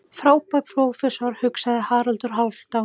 Frábær prófessor, hugsaði Haraldur Hálfdán.